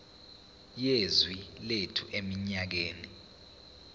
yezwe lethu eminyakeni